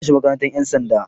Zan shiga makarantar 'yan sanda.